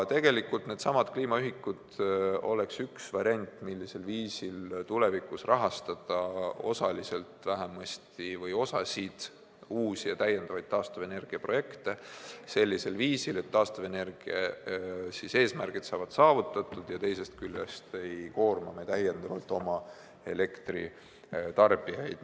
Needsamad kliimaühikud oleks üks variant, millisel viisil tulevikus rahastada vähemalt osaliselt või osasid uusi ja täiendavaid taastuvenergia projekte sellisel viisil, et taastuvenergia eesmärgid saavad saavutatud ja me ei koorma täiendavalt oma elektritarbijaid.